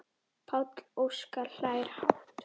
Páll Óskar hlær hátt.